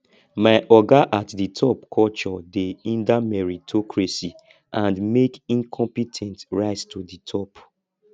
my oga at di top culture dey hinder meritocracy and make incompe ten t rise to di top